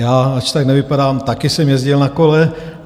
Já, ač tak nevypadám, taky jsem jezdil na kole.